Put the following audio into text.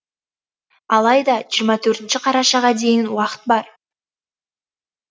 алайда жиырма төртінші қарашаға дейін уақыт бар